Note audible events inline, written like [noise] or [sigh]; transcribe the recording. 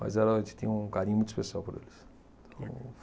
Mas ela [unintelligible] tinha um carinho muito especial por eles, então.